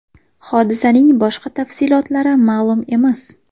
Hodisaning boshqa tafsilotlari ma’lum emas.